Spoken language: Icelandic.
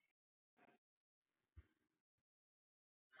Hún er fín, hún er fín, hún er mín.